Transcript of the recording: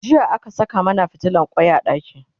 jiya aka Saka mana fitilan kwai a ɗaki